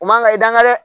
U man kan i dankan dɛ